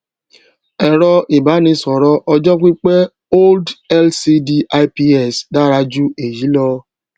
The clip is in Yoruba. èrọ ìbánisòrò ọjó pípé old lcd ips dára ju èyí lọ